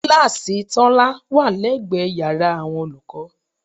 Kíláàsì Tọ́lá wà lẹ́gbẹ̀ẹ́ yàrá àwọn olùkọ́